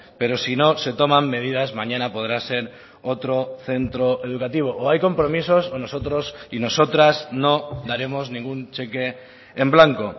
pero si no se toman medidas mañana podrá ser otro centro educativo o hay compromisos o nosotros y nosotras no daremos ningún cheque en blanco